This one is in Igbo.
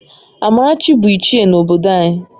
Amarachi bụ Ichie n’obodo anyị